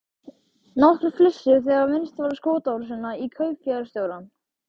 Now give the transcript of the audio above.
Nokkrir flissuðu þegar minnst var á skotárásina á kaupfélagsstjórann.